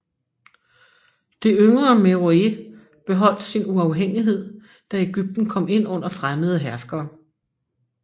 Det yngre Meroë beholdt sin uafhængighed da Egypten kom ind under fremmede herskere